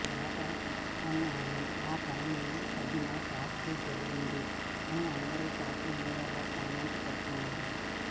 వేట పిచ్చిపని అని ఆ పనికి తగిన శాస్తి జరిగింది అని అందరూ సోషల్ మీడియాలో కామెంట్లు పెడుతున్నారు